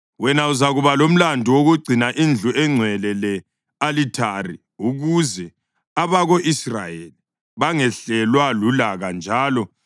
Wena uzakuba lomlandu wokugcina indlu engcwele le-alithari, ukuze abako-Israyeli bangehlelwa lulaka njalo.